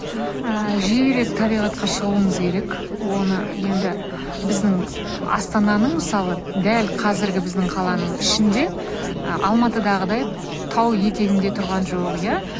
ыыы жиірек табиғатқа шығуымыз керек оны енді біздің астананың мысалы дәл қазіргі біздің қаланың ішінде ы алматыдағыдай тау етегінде тұрған жоқ иә